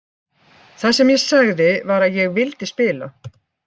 Það sem ég sagði var að ég vildi spila.